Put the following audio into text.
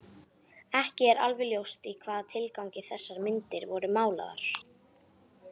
Ekki er alveg ljóst í hvaða tilgangi þessar myndir voru málaðar.